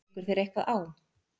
Liggur þér eitthvað á?